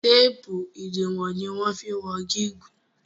teepu idiwọn ní wan fí wọn gigun.